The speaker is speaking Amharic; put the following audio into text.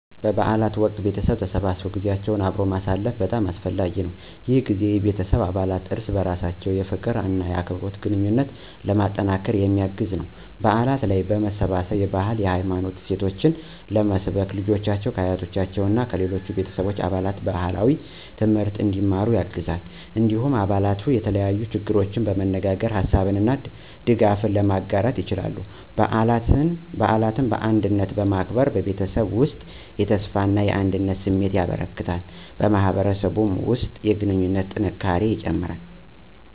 በበዓል ወቅት ቤተሰቦች ተሰብስበው ጊዜያቸውን አብረው ማሳለፍ በጣም አስፈላጊ ነው። ይህ ጊዜ የቤተሰብ አባላት እርስ በርሳቸው የፍቅር እና የአክብሮት ግንኙነትን ለማጠናከር የሚያግዝ ነው። በዓላት ላይ መሰባሰብ የባህልና የሃይማኖት እሴቶችን ለመስበክ፣ ልጆችን ከአያቶቻቸው እና ከሌሎች ቤተሰብ አባላት ባህላዊ ትምህርት እንዲያወሩ ያግዛል። እንዲሁም አባላቱ የተለያዩ ችግሮችን በመነጋገር ሀሳብ እና ድጋፍ ለመጋራት ይችላሉ። በዓላትን በአንድነት ማክበር በቤተሰብ ውስጥ የተስፋና አንድነት ስሜትን ያበረክታል፣ በማህበረሰብም ውስጥ የግንኙነት ጥንካሬን ይጨምራል።